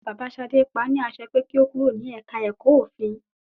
Bàbá Ṣadé pa ní àṣẹ pé kí o kúrò ní ẹ̀ka ẹ̀kọ́ òfin.